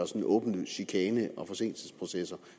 sådan åbenlys chikane og forsinkelsesprocesser